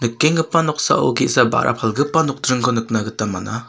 nikenggipa noksao ge·sa ba·ra palgipa nokdringko nikna gita man·a.